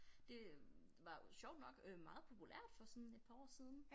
Det var jo sjovt nok øh meget populært for sådan et par år siden